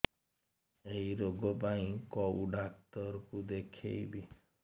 ଏଇ ରୋଗ ପାଇଁ କଉ ଡ଼ାକ୍ତର ଙ୍କୁ ଦେଖେଇବି